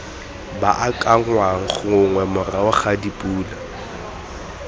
baakanngwang gongwe morago ga dipula